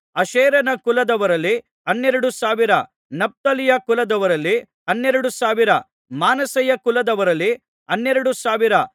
ಅಷೇರನ ಕುಲದವರಲ್ಲಿ ಹನ್ನೆರಡು ಸಾವಿರ ನಫ್ತಾಲಿಯ ಕುಲದವರಲ್ಲಿ ಹನ್ನೆರಡು ಸಾವಿರ ಮನಸ್ಸೆಯ ಕುಲದವರಲ್ಲಿ ಹನ್ನೆರಡು ಸಾವಿರ